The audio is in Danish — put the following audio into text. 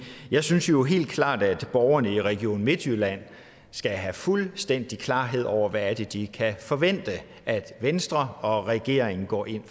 jeg synes jo helt klart at borgerne i region midtjylland skal have fuldstændig klarhed over hvad de kan forvente at venstre og regeringen går ind